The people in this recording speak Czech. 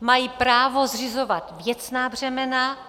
mají právo zřizovat věcná břemena.